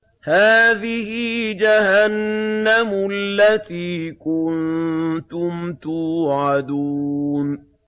هَٰذِهِ جَهَنَّمُ الَّتِي كُنتُمْ تُوعَدُونَ